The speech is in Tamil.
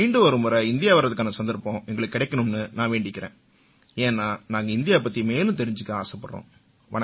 மீண்டும் ஒருமுறை இந்தியா வர்றதுக்கான சந்தர்ப்பம் எங்களுக்குக் கிடைக்கணும்னு நான் வேண்டிக்கறேன் ஏன்னா நாங்க இந்தியா பத்தி மேலும் தெரிஞ்சுக்க ஆசைப்படுறோம்